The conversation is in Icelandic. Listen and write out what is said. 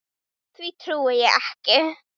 Því trúi ég.